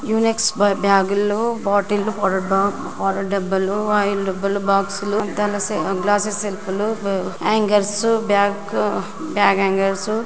Unix bag ల్లో bottle ల్లో powder డబ్బాలు ఆయిల్ డబ్బాలు బాక్స్లు అద్దాల గ్లాసెస్ సెల్పులు అంగర్స్ బ్యాక్ బాగ్ యాంగర్స్ -